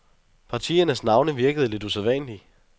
Partiernes navne virkede lidt usædvanlige.